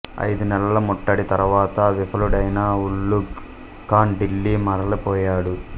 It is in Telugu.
అయిదు నెలల ముట్టడి తర్వాత విఫలుడైన ఉలుఘ్ ఖాన్ ఢిల్లీ మరలి పోయాడు